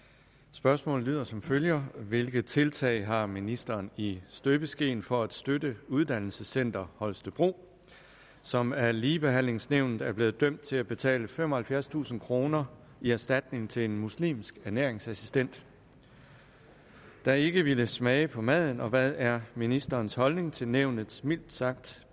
spørgsmålet lyder som følger hvilke tiltag har ministeren i støbeskeen for at støtte uddannelsescenter holstebro som af ligebehandlingsnævnet er blevet dømt til at betale femoghalvfjerdstusind kroner i erstatning til en muslimsk ernæringsassistent der ikke ville smage på maden og hvad er ministerens holdning til nævnets mildt sagt